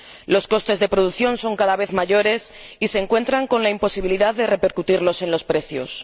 Los costes de producción son cada vez mayores y se encuentran con la imposibilidad de repercutirlos en los precios.